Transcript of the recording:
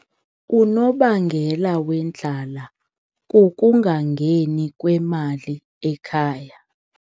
Unobangela wendlala kukungangeni kwemali ekhaya.